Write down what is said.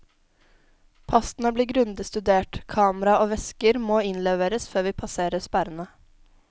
Passene blir grundig studert, kamera og vesker måinnleveres før vi passerer sperrene.